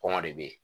Kɔngɔ de be yen